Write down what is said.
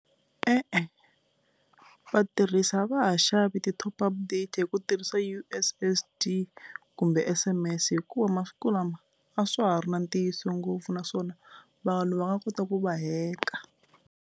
E-e, vatirhisa a va ha xavi ti-top up data hi ku tirhisa U_S_S_D kumbe S_M_S hikuva masiku lama a swa ha ri na ntiyiso ngopfu naswona vanhu va nga kota ku va heka.